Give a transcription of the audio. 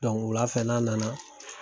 wulafɛ nana.